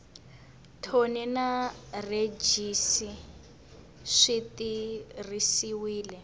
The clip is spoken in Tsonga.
thoni na rhejisi swi tirhisiwile